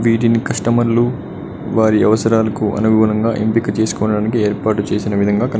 వీటిని కస్టమర్లు వారి అవసరాలకు అనుగుణంగా ఎంపిక చేసుకోవడానికి ఏర్పాటు చేసిన విధంగా కని--